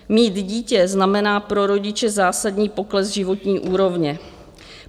Mít dítě znamená pro rodiče zásadní pokles životní úrovně.